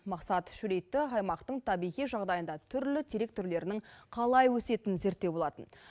мақсат шөлейтті аймақтың табиғи жағдайында түрлі терек түрлерінің қалай өсетінін зерттеу болатын